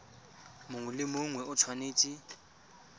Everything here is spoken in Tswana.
mongwe le mongwe o tshwanetse